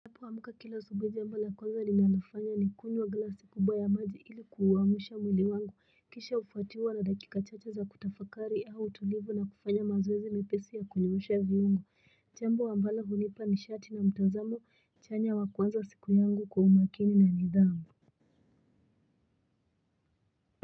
Ninapoamka kila asubuhi jambo la kwanza ninalofanya ni kunywa glasi kubwa ya maji ili kuuamisha mwili wangu kisha hufuatiwa na dakika chache za kutafakari au tulivu na kufanya mazoezi mepesi ya kunyoosha viungo. Jambo ambalo hunipa nishati na mtazamo chanya wa kuanza siku yangu kwa umakini na nidhamu.